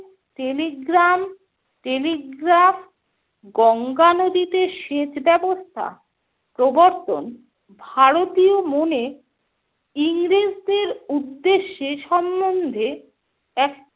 telegram, telegraph, Ganga নদীতে সেচ ব্যবস্থা প্রবর্তন ভারতীয় মনে ইংরেজদের উদ্দেশ্যে সম্বন্ধে এক